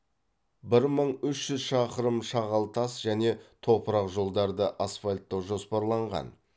бір мың үш жүз шақырым шағал тас және топырақ жолдарды асфальттау жоспарланған